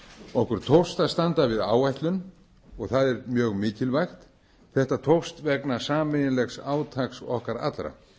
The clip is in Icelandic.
okkur tókst að standa við áætlun og það er mjög mikilvægt þetta tókst vegna sameiginlegs átaks okkar allra